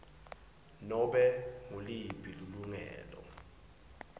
nobe nguliphi lilungelo